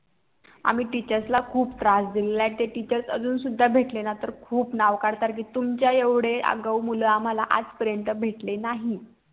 आम्ही TEACHERS ला खूप त्रास दिला आहे ते TEACHERS अजून सुद्धा भेटले ना तर खूप नाव काढतात कि तुमच्या एवढे आगाऊ मुल आम्हाला आज पर्यंत भेटले नाहीत